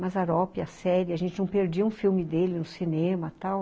Mazzaropi, a série, a gente não perdia um filme dele no cinema tal.